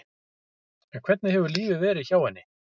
En hvernig hefur lífið verið hjá henni?